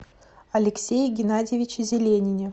алексее геннадьевиче зеленине